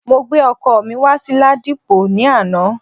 Mo gbé ọkọ̀ mi wá sí Ladipo ní àná